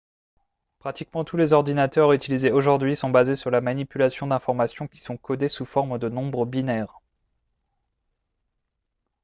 pratiquement tous les ordinateurs utilisés aujourd'hui sont basés sur la manipulation d'informations qui sont codées sous forme de nombres binaires